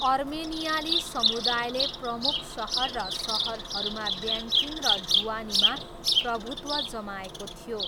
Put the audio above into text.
अर्मेनियाली समुदायले प्रमुख सहर र सहरहरूमा ब्याङ्किङ र ढुवानीमा प्रभुत्व जमाएको थियो।